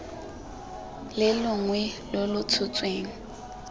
le longwe lo lo tshotsweng